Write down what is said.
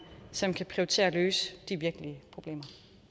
som kan prioritere at løse de virkelige problemer